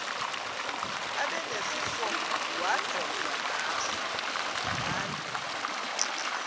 abe nesifowadyojwa ngayo